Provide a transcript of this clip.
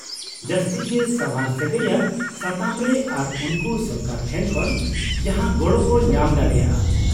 -ᱡᱟᱹᱥᱛᱤ ᱜᱮ ᱥᱟᱣᱟᱨ ᱥᱟᱹᱜᱟᱹᱭ ᱟᱱ ᱥᱟᱛᱟᱢᱨᱮ ᱟᱨ ᱩᱱᱠᱩ ᱥᱚᱨᱠᱟᱨ ᱴᱷᱮᱱ ᱠᱷᱚᱱ ᱡᱟᱦᱟᱸ ᱜᱚᱲᱚ ᱠᱚ ᱧᱟᱢ ᱫᱟᱲᱮᱭᱟᱜᱼᱟ ᱾